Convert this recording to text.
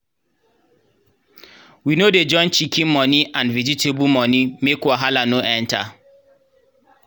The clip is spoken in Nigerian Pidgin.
we no dey join chicken moni and vegetable moni make wahala no enter.